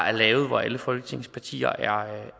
er lavet hvor alle folketingets partier